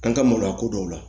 An ka maloya ko dɔw la